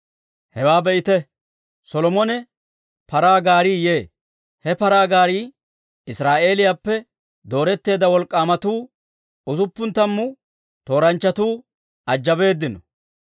Hewaa be'ite, Solomona paraa gaarii yee; he paraa gaarii Israa'eeliyaappe dooretteedda wolk'k'aamatuu, usuppun tammu tooranchchatuu ajabeedino.